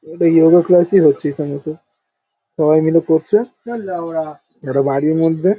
এই yoga class -ই হচ্ছে হিসাব মতো সবাই মিলে করছে একটা বাড়ির মধ্যে ।